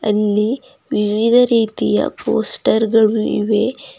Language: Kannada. ಅಲ್ಲಿ ವಿವಿಧ ರೀತಿಯ ಪೋಸ್ಟರ್ ಗಳು ಇವೆ.